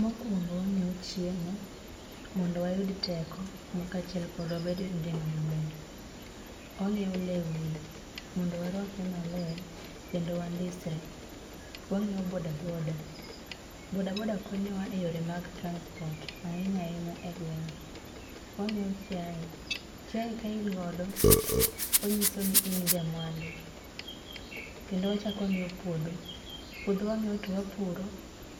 Mokwongo wa ngiewo chiemo mondo wayud teko ka chiel mondo wa bed gi gima maber wa ngiewo lewni mondo wa rwakre maler kendo wa ndisre, wa ngiyo boda boda. Boda boda konyo wa e yore mag transport ahinya ahinya e gwenge, wa ngiyo chiaye. Chiaye ka in godo o nyiso ni in ja mwandu kendo wachako wa ngiyo puodho. Puodho wangiyo to wapuro